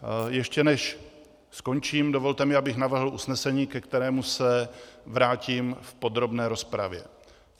Ještě než skončím, dovolte mi, abych navrhl usnesení, ke kterému se vrátím v podrobné rozpravě.